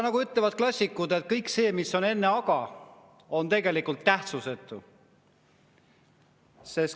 Nagu ütlevad klassikud, et kõik see, mis on enne "aga", on tegelikult tähtsusetu.